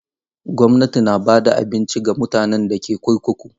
Gwamnati na ba da abinci ga mutanen da ke kurkuku.